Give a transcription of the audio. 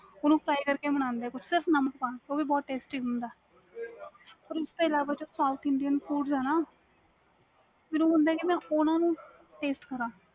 ਓਹਨੂੰ fry ਕਰਕੇ ਬਣਾ ਦੇ ਨੇ ਸਿਰਫ ਨਾਮਕ ਪਾ ਕੇ ਉਹ ਵੀ ਬਹੁਤ testy ਹੁੰਦਾ ਵ ਓਹਦੇ ਇਲਾਵਾ ਜਿਹੜਾ South Indian food ਵ ਨਾ ਮੈਨੂੰ ਹੁੰਦਾ ਕਿ ਮੈਂ ਓਹ੍ਨਾਨੂੰ taste ਕਰਾ